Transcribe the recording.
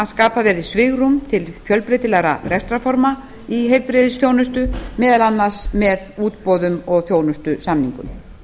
skapa verði svigrúm til fjölbreytilegra rekstrarforma í heilbrigðisþjónustu meðal annars með útboðum og þjónustusamningum